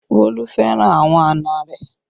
Bolu fẹ́ràn àwọn àna rẹ